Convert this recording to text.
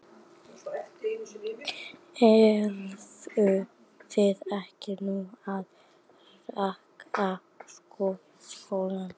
Eruð þið ekki núna að hækka sko þjónustugjöldin?